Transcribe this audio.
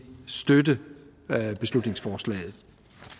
støtte beslutningsforslaget